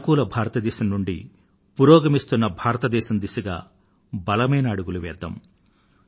అనుకూల భారతదేశం నుండి పురోగమిస్తున్న భారతదేశం దిశగా బలమైన అడుగులు వేద్దాం